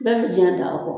Bɛɛ bi jɛ d'a kɔ